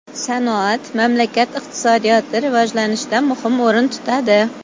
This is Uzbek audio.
Sanoat mamlakat iqtisodiyoti rivojlanishida muhim o‘rin tutadi.